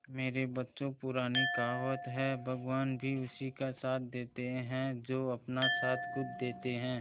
मेरे बच्चों पुरानी कहावत है भगवान भी उसी का साथ देते है जो अपना साथ खुद देते है